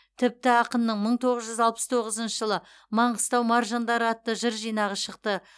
тіпті ақынның мың тоғыз жүз алпыс тоғызыншы жылы маңғыстау маржандары атты жыр жинағы шықты